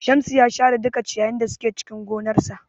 Shamsu ya share duka ciyayin da suke cikin gonarsa.